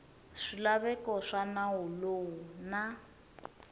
swilaveko swa nawu lowu na